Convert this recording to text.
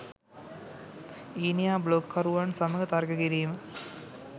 ඊනියා බ්ලොග් කරුවන් සමග තර්ක කිරීම